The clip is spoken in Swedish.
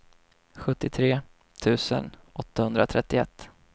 sjuttiotre tusen åttahundratrettioett